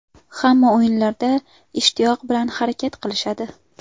Hamma o‘yinlarda ishtiyoq bilan harakat qilishadi.